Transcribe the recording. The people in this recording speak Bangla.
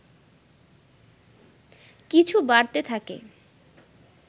কিছু বাড়তে থাকে